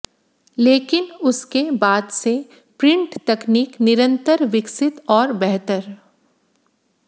लेकिन उसके बाद से प्रिंट तकनीक निरंतर विकसित और बेहतर